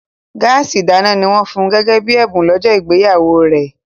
Gáàsì ìdáná ni wọ́n fun gẹ́gẹ́ bí ẹ̀bùn lọ́jọ́ ìgbéyàwó rẹ̀